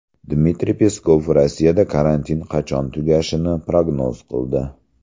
Dmitriy Peskov Rossiyada karantin qachon tugashini prognoz qildi.